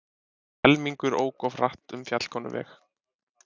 Helmingur ók of hratt um Fjallkonuveg